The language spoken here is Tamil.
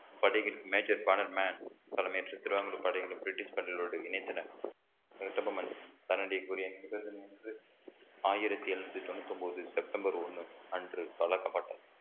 படைகளில் major corner man தலைமையேற்று திருவாங்கூர் படைகளை பிரிட்டிஷ் பள்ளிகளோடு இணைத்தனர் கட்டபொம்மன் தன்னிடம் கூறிய ஆயிரத்தி எழுநூத்தி தொண்ணூத்தி ஒன்பது செப்டம்பர் ஒண்ணு அன்று வழங்கப்பட்டது